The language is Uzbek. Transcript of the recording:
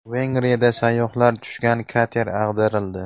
Vengriyada sayyohlar tushgan kater ag‘darildi.